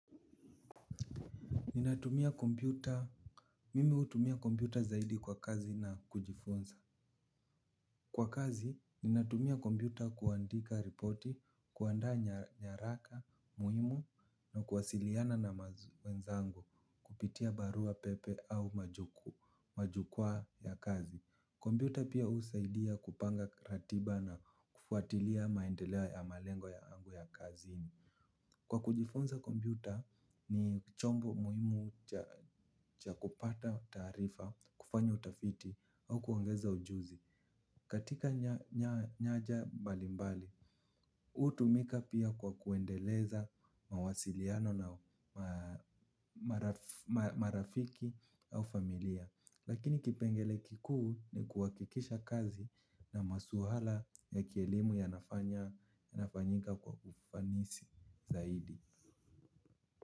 Ninatumia kompyuta, mimi hutumia kompyuta zaidi kwa kazi na kujifunza. Kwa kazi, ninatumia kompyuta kuandika ripoti, kuandaa nyaraka muhimu na kuwasiliana na wenzangu. Kupitia barua pepe au majukwaa ya kazi. Kompyuta pia husaidia kupanga ratiba na kufuatilia maendeleo ya malengo yangu ya kazini. Kwa kujifunza kompyuta. Ni chombo muhimu cha kupata taarifa, kufanya utafiti au kuongeza ujuzi. Katika nyanja mbalimbali, hutumika pia kwa kuendeleza mawasiliano na marafiki au familia. Lakini kipengele kikuu ni kuhakikisha kazi na masuala ya kielimu yanafanyika kwa ufanisi zaidi.